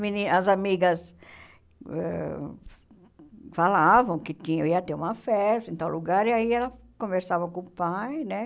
Meni as amigas ãh falavam que tinham ia ter uma festa em tal lugar e aí ela conversava com o pai, né?